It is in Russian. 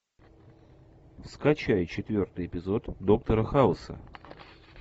скачай четвертый эпизод доктора хауса